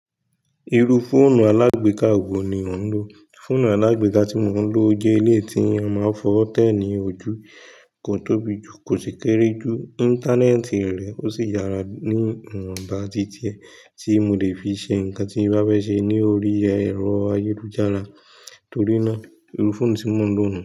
Iru fóònù alagbeka wo ni o ń lò? Fóònù alagbeka tí mo ń lò jẹ́ ilé tí a máa ń fọ tẹ́ẹ̀nì ojú, kò tóbi jù, kò sì kéré jù, Íńtánẹ́ẹ̀tì rẹ̀ ó sì yára ní ìwọ̀nba dídiẹ tí mo lè fi ṣe nǹkan tí bá fẹ́ ṣe ní orí ẹ̀rọ ayélujára torí náà, irú fóònù tí mo ń lò nùu.